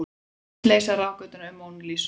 Hyggst leysa ráðgátuna um Mónu Lísu